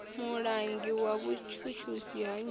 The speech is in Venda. mulangi wa vhutshutshisi ha nnyi